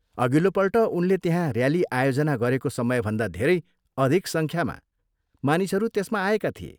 अघिल्लो पल्ट उनले त्यहाँ ऱ्याली आयोजना गरेको समयभन्दा धेरै अधिक सङ्ख्यामा मानिसहरू त्यसमा आएका थिए।